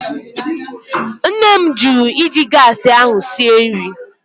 Nne m jụrụ iji gaasị ahụ sie nri.